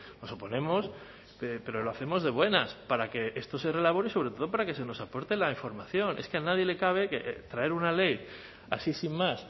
nos oponemos pero lo hacemos de buenas para que esto se reelabore y sobre todo para que se nos aporte la información es que a nadie le cabe traer una ley así sin más